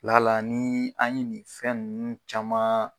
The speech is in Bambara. Lala ni an ye nin fɛn ninnu caman